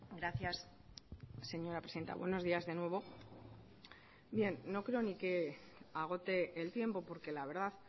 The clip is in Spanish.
gracias señora presidenta buenos días de nuevo no creo ni que agote el tiempo porque la verdad